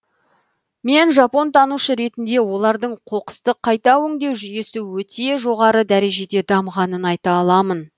мен жапонтанушы ретінде олардың қоқысты қайта өңдеу жүйесі өте жоғары дәрежеде дамығанын айта аламын